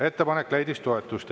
Ettepanek leidis toetust.